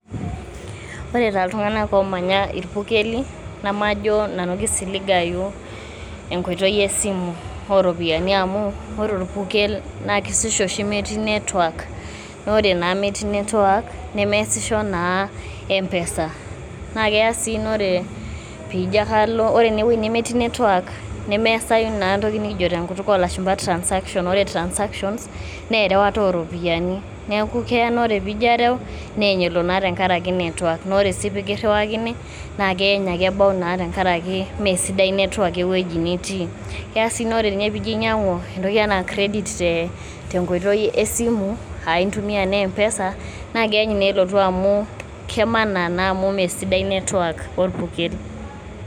Ore taa iltung'anak oomanya irpukeli namajo nanu kisiligayu enkoitoi e simu o ropiani amu ore orpukel naake meeti network naa ore naa metii network nemeasisho naa empesa. Naake eya sii ore pijo ake alo ore enewueji nemetii network, nemeasayu naa ena toki nekijo tenkutuk oo lashumba transaction, ore transaction naa erewata o ropiani neeku ore pee ijo areu neeny elo naa tenkaraki a network naa ore sii peekiriwakini naake eeny ake ebau tenkaraki meesidai naa network ewueji nitii. Keyaa sii ore nye piijo inyang'u entoki enaa credit te nkoitoi e simu aake intumia naa empesa naake eeny naa elotu amu kemana naa amu meesidai naa network orpukel.